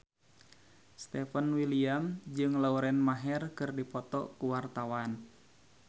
Stefan William jeung Lauren Maher keur dipoto ku wartawan